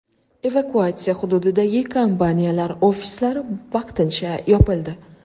Evakuatsiya hududidagi kompaniyalar ofislari vaqtincha yopildi.